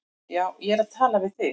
Já, ég er að tala við þig!